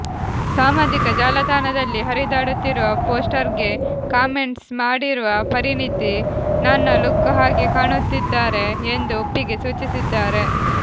ಸಾಮಾಜಿಕ ಜಾಲತಾಣದಲ್ಲಿ ಹರಿದಾಡುತ್ತಿರುವ ಪೋಸ್ಟರ್ ಗೆ ಕಾಮೆಂಟ್ಸ್ ಮಾಡಿರುವ ಪರಿಣೀತಿ ನನ್ನ ಲುಕ್ ಹಾಗೆ ಕಾಣುತ್ತಿದ್ದಾರೆ ಎಂದು ಒಪ್ಪಿಗೆ ಸೂಚಿಸಿದ್ದಾರೆ